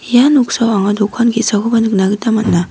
ia noksao anga dokan ge·sakoba nikna gita man·a.